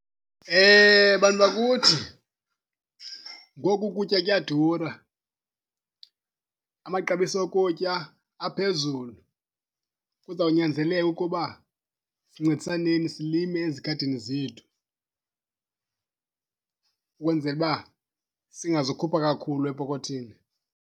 Bantu bakuthi, ngoku ukutya kuyadura. Amaxabiso okutya aphezulu kuzawunyanzeleka ukuba sincedisaneni silime ezigadini zethu ukwenzela uba singazukhupha kakhulu epokothini.